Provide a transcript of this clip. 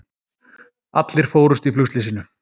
Allir fórust í flugslysinu